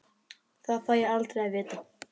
Það fæ ég aldrei að vita.